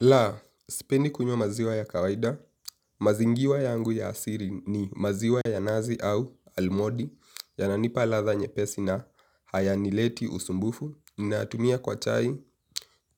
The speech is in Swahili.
La, sipendi kunywa maziwa ya kawaida, mazingiwa yangu ya asiri ni maziwa ya nazi au almondi yananipa ladha nyepesi na haya nileti usumbufu, ninatumia kwa chai,